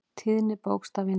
Tíðni bókstafa í Njálu.